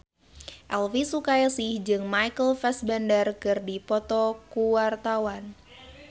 Elvi Sukaesih jeung Michael Fassbender keur dipoto ku wartawan